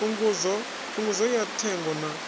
phungudzo ya thengo na u